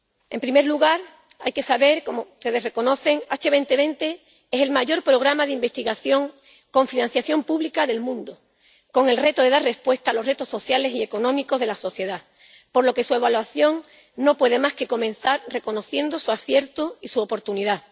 En primer lugar, hay que saber —como ustedes reconocen— que Horizonte 2020 es el mayor programa de investigación con financiación pública del mundo, cuyo reto es dar respuesta a los retos sociales y económicos de la sociedad, por lo que su evaluación no puede más que comenzar reconociendo su acierto y su oportunidad.